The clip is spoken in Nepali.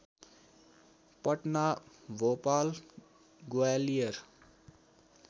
पटना भोपाल ग्वालियर